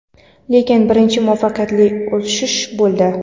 lekin birinchi muvaffaqiyatli uchirish bo‘ldi.